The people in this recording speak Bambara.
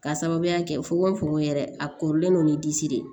K'a sababuya kɛ fukonfukon yɛrɛ a korilen don ni disi de ye